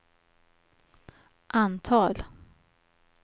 antal